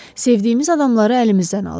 Sevdiyimiz adamları əlimizdən alır.